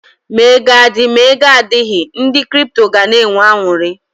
Ma ego adị, ma ego adịghị, ndị kripto gana enwe aṅụrị.